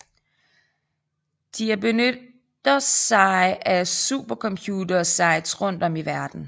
De er benytter sig af supercomputere sites rundt om i verden